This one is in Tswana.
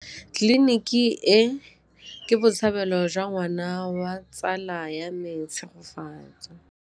Tleliniki e, ke botsalêlô jwa ngwana wa tsala ya me Tshegofatso.